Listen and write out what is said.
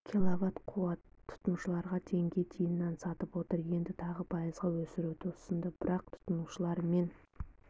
киловатт қуатты тұтынушыларға теңге тиыннан сатып отыр енді тағы пайызға өсіруді ұсынды бірақ тұтынушылар мен